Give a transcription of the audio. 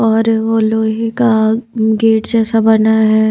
और वो लोहे का गेट जैसा बना है।